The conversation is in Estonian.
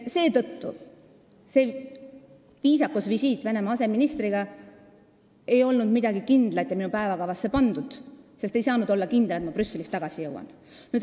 Seetõttu ei olnud see viisakusvisiit, et kohtuda Venemaa aseministriga, midagi kindlat ega olnud ka minu päevakavasse pandud, sest ei saanud olla kindel, et ma Brüsselist õigeks ajaks tagasi jõuan.